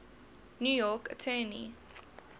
new york attorney